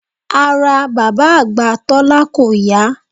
Ara bàbá àgbà Tólá kò yá